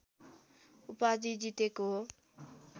उपाधि जितेको हो